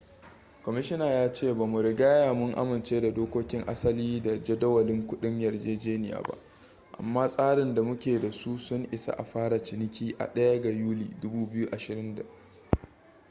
kwamishina ya ce ba mu rigya mun amince da dokokin asali da jadawalin kudin yarjejeniya ba amma tsarin da muke da su sun isa a fara ciniki a 1 ga yuli 2020